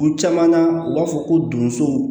U caman na u b'a fɔ ko donso